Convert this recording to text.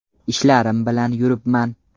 Ishlarim bilan yuribman.